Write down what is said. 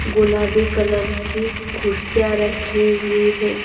गुलाबी कलर की कुर्सियां रखी हुई है.